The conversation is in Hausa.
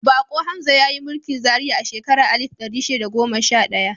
Bako Hamza ya yi mulkin Zaria a shekarar alif ɗari shida da goma sha ɗaya.